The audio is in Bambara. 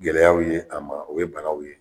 Gɛlɛyaw ye a ma o ye banaw ye